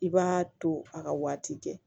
I b'a to a ka waati kɛ